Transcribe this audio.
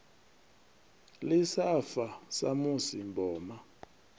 ḽi sa fa samusi mboma